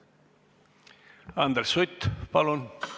Andres Sutt, palun!